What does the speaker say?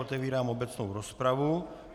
Otevírám obecnou rozpravu.